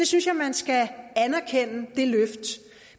synes jeg man skal anerkende